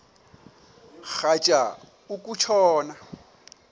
rhatya uku tshona